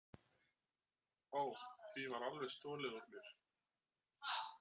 Ó, því var alveg stolið úr mér.